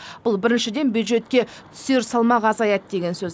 бұл біріншіден бюджетке түсер салмақ азаяды деген сөз